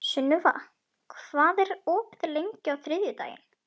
Sunniva, hvað er opið lengi á þriðjudaginn?